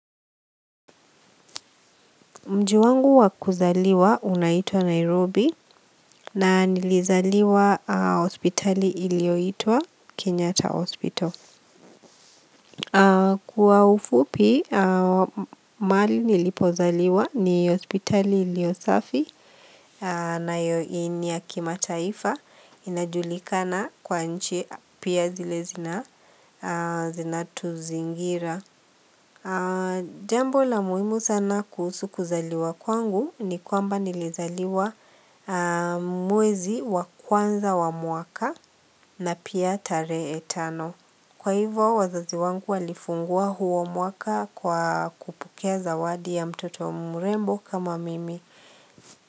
Mji wangu wa kuzaliwa unaitwa Nairobi na nilizaliwa hospitali ilioitwa Kenyatta Hospital. Kwa ufupi, mahali nilipozaliwa ni hospitali ilio safi na ni ya kimataifa inajulikana kwa nchi pia zile zinatuzingira. Jambo la muhimu sana kuhusu kuzaliwa kwangu ni kwamba nilizaliwa mwezi wa kwanza wa mwaka na pia tarehe tano. Kwa hivyo wazazi wangu walifungua huo mwaka kwa kupokea zawadi ya mtoto mrembo kama mimi.